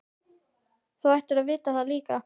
Þú ættir að vita það líka.